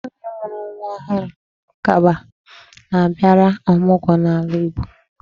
Nwaanyị mụrụ nwa ọhụụ kaba na-abịara ọmụgọ n'ala Igbo.